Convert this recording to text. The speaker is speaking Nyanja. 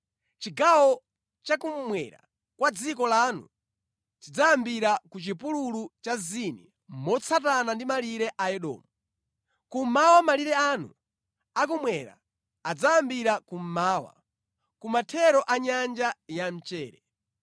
“ ‘Chigawo cha kummwera kwa dziko lanu chidzayambira ku chipululu cha Zini motsatana ndi malire a Edomu. Kummawa malire anu a kummwera adzayambira kummawa, kumathero a Nyanja ya Mchere.